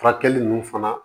Furakɛli ninnu fana